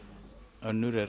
önnur er